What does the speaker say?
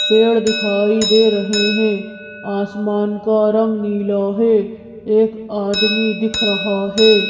पेड़ दिखाई दे रहे हैं आसमान का रंग नीला है एक आदमी दिख रहा है।